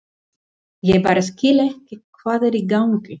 Ég bara skil ekki hvað er í gangi.